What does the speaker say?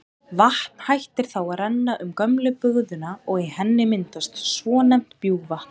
Vatn hættir þá að renna um gömlu bugðuna og í henni myndast svonefnt bjúgvatn.